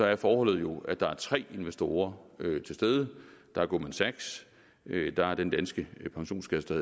er forholdet jo at der er tre investorer til stede der er goldman sachs der er den danske pensionskasse der